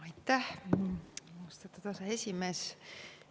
Aitäh, austatud aseesimees!